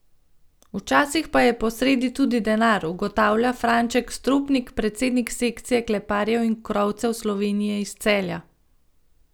Včasih pa je posredi tudi denar, ugotavlja Franček Stropnik, predsednik sekcije kleparjev in krovcev Slovenije iz Celja.